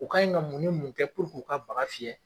O kaɲe ka mun ni mun kɛ k'u ka bagan fiyɛ.